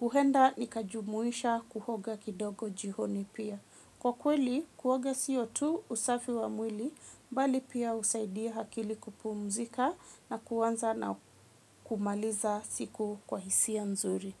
huhenda nikajumuisha kuhoga kidogo jihoni pia. Kwa kweli, kuoga siyo tu usafi wa mwili, mbali pia usaidia hakili kupumzika na kuwanza na kumaliza siku kwa hisia nzuri.